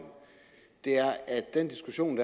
den diskussion